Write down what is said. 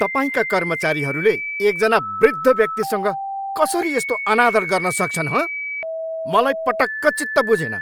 तपाईँका कर्मचारीहरूले एकजना वृद्ध व्यक्तिसँग कसरी यस्तो अनादर गर्न सक्छन्, हँ? मलाई पटक्क चित्त बुझेन।